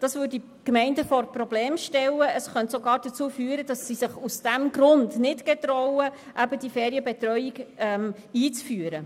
Dies würde die Gemeinden vor Probleme stellen und könnte dazu führen, dass diese sich aus diesem Grund nicht wagen, eine Ferienbetreuung einzuführen.